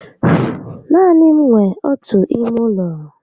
Naani m nwe ọtu ime ụlọ